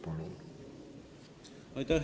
Palun!